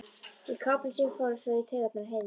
Í kápunni sem fór svo í taugarnar á Heiðu.